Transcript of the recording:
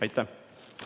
Aitäh!